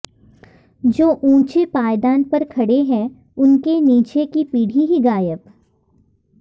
जो ऊँचे पायदान पर खड़े हैं उनके नीचे की पीढ़ी ही गायब